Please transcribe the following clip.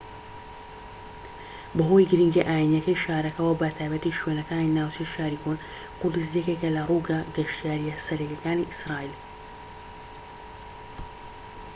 بەهۆی گرنگییە ئاینیەکەی شارەکەوە بە تایبەتی شوێنەکانی ناوچەی شاری کۆن قودس یەکێکە لە ڕووگە گەشتیاریە سەرەکیەکانی ئیسرائیل